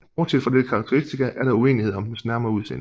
Bortset fra dette karakteristika er der uenighed om dens nærmere udseende